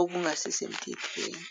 okungasisemthethweni.